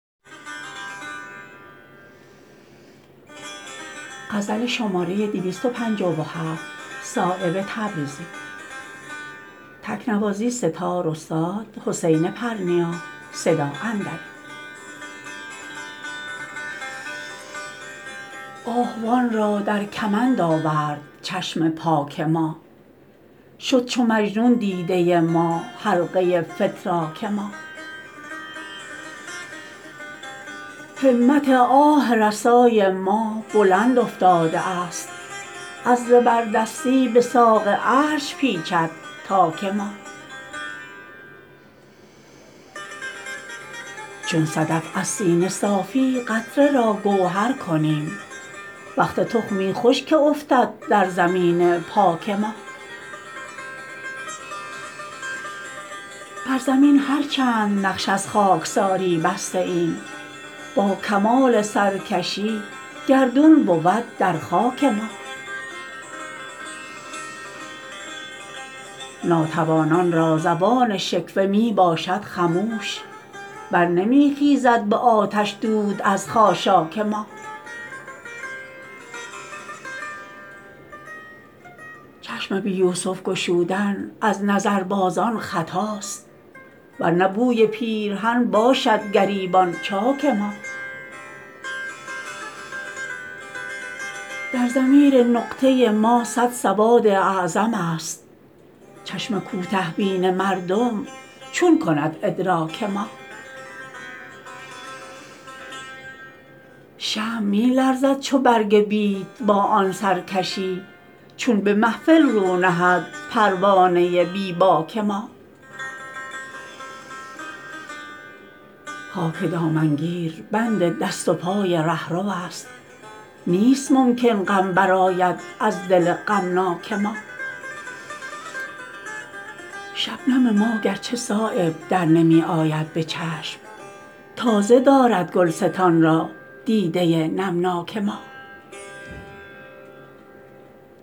آهوان را در کمند آورد چشم پاک ما شد چو مجنون دیده ما حلقه فتراک ما همت آه رسای ما بلند افتاده است از زبردستی به ساق عرش پیچد تاک ما چون صدف از سینه صافی قطره را گوهر کنیم وقت تخمی خوش که افتد در زمین پاک ما بر زمین هر چند نقش از خاکساری بسته ایم باکمال سرکشی گردون بود در خاک ما ناتوانان را زبان شکوه می باشد خموش برنمی خیزد به آتش دود از خاشاک ما چشم بی یوسف گشودن از نظربازان خطاست ورنه بوی پیرهن باشد گریبان چاک ما در ضمیر نقطه ما صد سواد اعظم است چشم کوته بین مردم چون کند ادراک ما شمع می لرزد چو برگ بید با آن سرکشی چون به محفل رو نهد پروانه بی باک ما خاک دامنگیر بند دست و پای رهروست نیست ممکن غم برآید از دل غمناک ما شبنم ما گرچه صایب در نمی آید به چشم تازه دارد گلستان را دیده نمناک ما